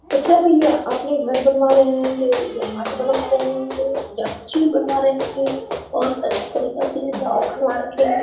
अच्छा भईया आपने घर बनवा रहे होंगे या माट बनवा रहे होंगे या कुछ भी बनवा रहे होंगे बहोत अच्छा तरीका से डाव खानवा रखे है।